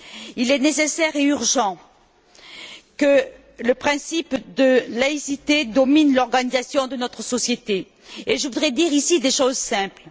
Il est nécessaire et urgent que le principe de laïcité domine l'organisation de notre société, et je voudrais dire ici des choses simples.